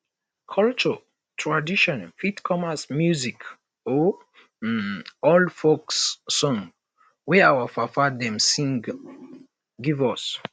cultural um traditon fit come as music or um old folk song wey our papa dem sing um give us